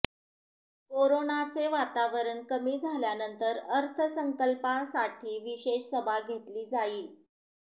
कोरोनाचे वातावरण कमी झाल्यानंतर अर्थसंकल्पासाठी विशेष सभा घेतली जाईल